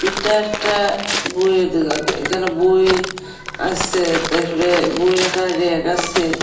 এটা একটা বইয়ের দোকান এখানে বই আছে তারপরে বই রাখার রেগ আছে।